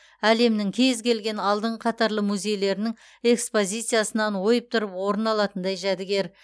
әлемнің кез келген алдыңғы қатарлы музейлерінің экспозициясынан ойып тұрып орын алатындай жәдігер